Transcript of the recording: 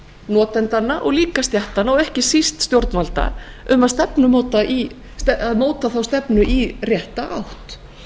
notendanna og líka stéttanna og ekki síst stjórnvalda um að móta þá stefnu í rétta átt